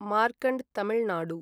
Markand Tamil Nadu